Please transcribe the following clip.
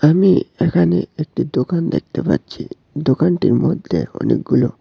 আমি এখানে একটি দোকান দেখতে পাচ্ছি দোকানটির মধ্যে অনেকগুলো--